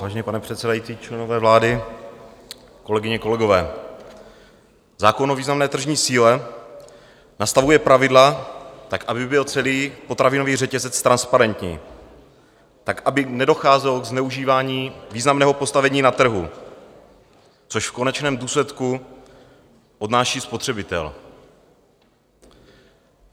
Vážený pane předsedající, členové vlády, kolegyně, kolegové, zákon o významné tržní síle nastavuje pravidla tak, aby byl celý potravinový řetězec transparentní, tak, aby nedocházelo k zneužívání významného postavení na trhu, což v konečném důsledku odnáší spotřebitel.